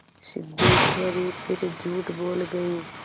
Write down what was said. सिद्धेश्वरी फिर झूठ बोल गई